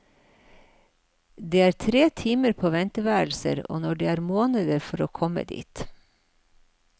Det er timer på venteværelser og det er måneder for å komme dit.